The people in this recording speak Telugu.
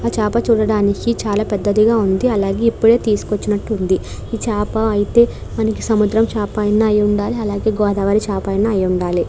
ఆ చేప చూడడానికి పెద్ధదిగా ఉంది అలాగే ఎప్పుడో తీసుకొచ్చినట్టు ఉంది. ఈ చేప అయితే ఇది సముద్రం చేప అయిన అయుండాలి అలాగే గోదావరి చేప అయినా అయిండాలి.